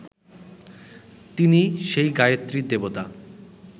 তিনি সেই গায়ত্রীর দেবতা